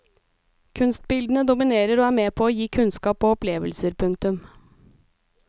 Kunstbildene dominerer og er med på å gi kunnskap og opplevelser. punktum